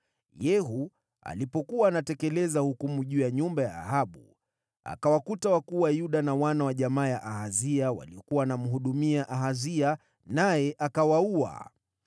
Yehu alipokuwa anatekeleza hukumu juu ya nyumba ya Ahabu, akawakuta wakuu wa Yuda na wana wa jamaa ya Ahazia waliokuwa wanamhudumia Ahazia, naye akawaua.